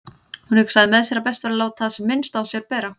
Hún hugsaði með sér að best væri að láta sem minnst á sér bera.